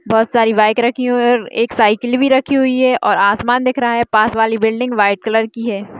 बहुत सारी बाइक रखी हुई है एक साइकिल भी रखी हुई है और आसमान दिख रहा है पास वाली बिल्डिंग व्हाइट कलर की है।